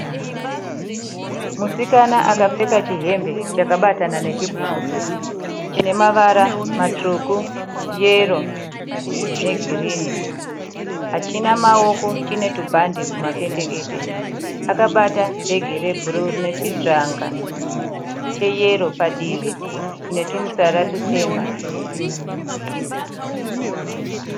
Musikana akapfeka chihembe chakabatana nechibhurukwe chine mavara matsvuku yero negirini hachina maoko chine tumbhande kumapendekete. Akabata bhege rebhuru rine chijanga cheyero padivi chine tumutsara tutema.